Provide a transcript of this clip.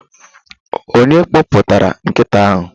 Onye kpọpụtara nkịta ahụ?